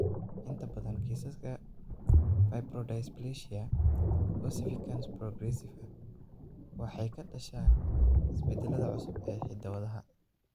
Inta badan kiisaska fibrodysplasia ossificans progressiva waxay ka dhashaan isbeddellada cusub ee hidda-wadaha.